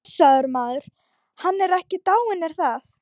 Blessaður maðurinn, hann er ekki dáinn er það?